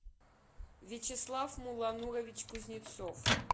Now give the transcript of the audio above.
вячеслав муланурович кузнецов